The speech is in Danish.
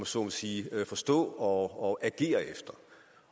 så må sige forstå og agere efter